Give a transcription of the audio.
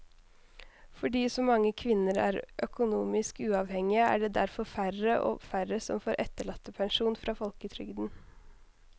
Fordi så mange kvinner er økonomisk uavhengige er det derfor færre og færre som får etterlattepensjon fra folketrygden.